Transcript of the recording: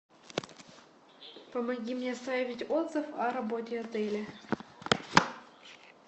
помоги мне оставить отзыв о работе отеля